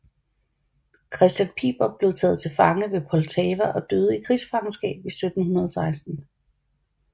Christian Piper blev taget til fange ved Poltava og døde i krigsfangenskab i 1716